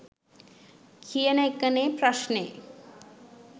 කියන එක නේ ප්‍රශ්නේ.